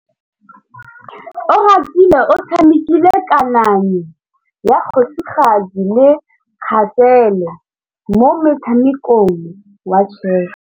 Oratile o tshamekile kananyô ya kgosigadi le khasêlê mo motshamekong wa chess.